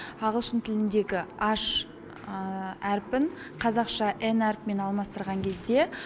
ағылшын тіліндегі аш әрпін қазақша н әрпімен алмастырған кезде